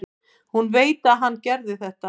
Hún veit að hann gerir það.